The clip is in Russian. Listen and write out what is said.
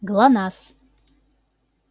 глонассс